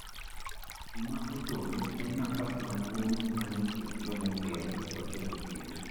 Gima odong' en nafas maduong' manie ekind joma omeo koda joma odhier.